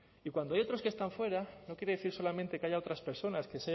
y cuando hay otros que están fuera no quiere decir solamente que haya otras personas que